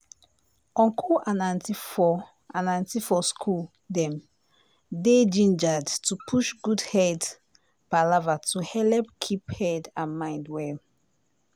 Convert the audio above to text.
uncle and auntie for and auntie for school dem dey gingered to push good head palava to helep keep head and mind well.